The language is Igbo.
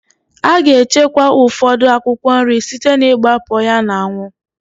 A ga-echekwa ụfọdụ akwụkwọ nri site n'igbakpọ ya n'anwụ.